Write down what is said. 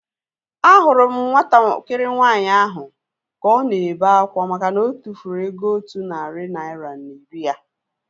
Ahụrụ m nwatakịrị nwaanyị ahu ka ọ na-ebe akwa makana otufuru ego otu narị naira na iri ya